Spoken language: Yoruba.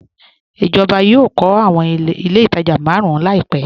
Ijọba yọọ̀ kọ̀ awọn ilẹ̀ itajà màrùn làìpẹ